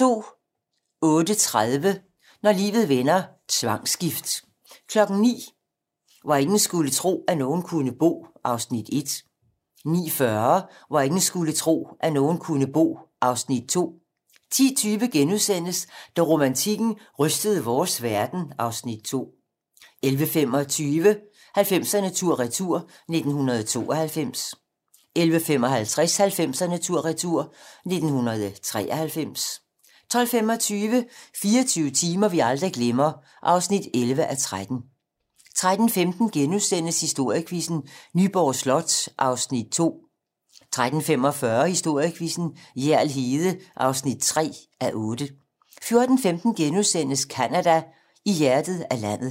08:30: Når livet vender: Tvangsgift 09:00: Hvor ingen skulle tro, at nogen kunne bo (Afs. 1) 09:40: Hvor ingen skulle tro, at nogen kunne bo (Afs. 2) 10:20: Da romantikken rystede vores verden (Afs. 2)* 11:25: 90'erne tur-retur: 1992 11:55: 90'erne tur retur: 1993 12:25: 24 timer, vi aldrig glemmer (11:13) 13:15: Historiequizzen: Nyborg Slot (2:8)* 13:45: Historiequizzen: Hjerl Hede (3:8)* 14:15: Canada: I hjertet af landet *